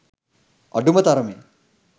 අඩුම තරමේ